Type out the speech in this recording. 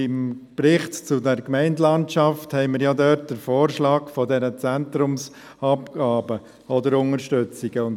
… Im Bericht «Zukunft Gemeindelandschaft Kanton Bern» gibt es den Vorschlag dieser Zentrumsabgaben oder -unterstützungen.